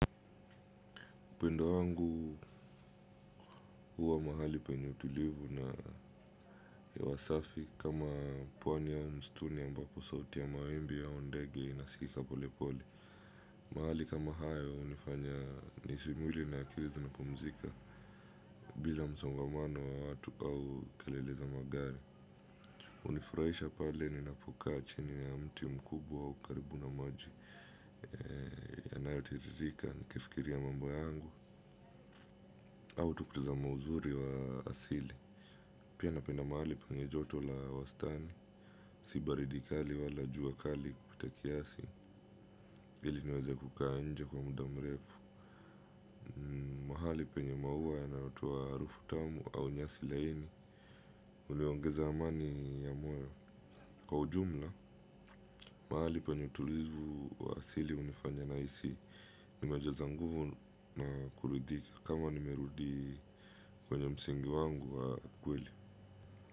Pendo wangu huwa mahali penye utulivu na hewa safi kama pwani au mstuni ambapo sauti ya mawimbi au ndege inasikika pole pole. Mahali kama hayo hunifanya nihisi mwili na akili zimepumzika bila msongamano wa watu au kalele za magari. Hunifurahisha pale ninapokaa chini ya mti mkubwa au karibu na maji yanayotiririka nikifikiria mambo yangu au tu kutazama uzuri wa asili. Pia napenda mahali penye joto la wastani, si baridi kali wala jua kali kupita kiasi, ili niweze kukaa nje kwa muda mrefu. Mahali penye maua yanayotoa harufu tamu au nyasi laini, ulioongeza amani ya moyo. Kwa ujumla, mahali penye utulivu wa asili hunifanya nahisi nimejeza nguvu na kuridhika kama nimerudi kwenye msingi wangu wa kweli.